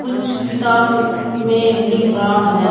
कुछ किताब में लिख रहा है।